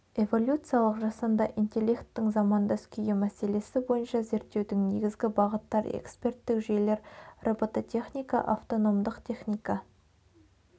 эволюциялық жасанды интелекттің замандас күйі мәселесі бойынша зерттеудің негізгі бағыттар эксперттік жүйелер робототехника автономдық техника